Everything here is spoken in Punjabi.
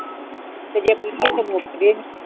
ਤੇ ਜੇ ਪੀਲੀਏ ਤੇ ਮੁਕ ਜੇ